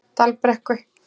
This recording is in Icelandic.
Dalbrekku